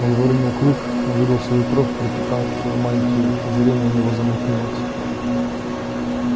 он выронил клык увидел свою кровь пропитавшую мантию и зрение у него затуманилось